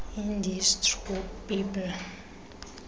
ideas through people